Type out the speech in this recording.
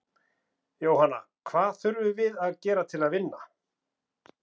Jóhanna: Hvað þurfum við að gera til að vinna?